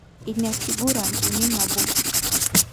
Ina kiguran uni nabo 3-1